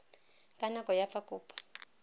ka nako ya fa kopo